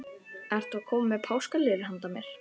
Ertu að koma með páskaliljur handa mér?